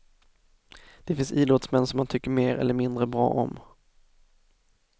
Det finns idrottsmän som man tycker mer eller mindre bra om.